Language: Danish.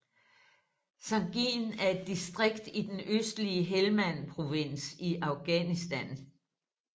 Sangin er et distrikt i den østlige Helmand Provins i Afghanistan